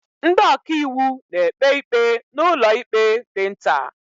Ndị ọkàiwu na-ekpe ikpe n'ụlọikpe dị nta.